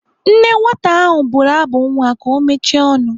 Nne nwata ahụ bụrụ abụ nwa ka ọ mechie ọnụ.